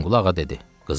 Hüseynqulu ağa dedi: